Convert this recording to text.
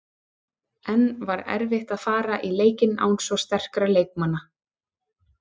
En var erfitt að fara í leikinn án svo sterkra leikmanna?